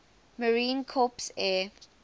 marine corps air